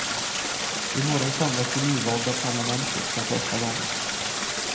Imorgon samlas det nyvalda parlamentet för första gången.